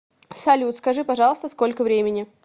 салют скажи пожалуйста сколько времени